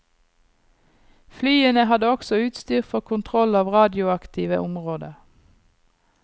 Flyene hadde også utstyr for kontroll av radioaktive områder.